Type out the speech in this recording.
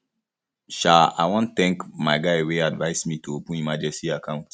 um i wan thank my guy wey advice me to open emergency account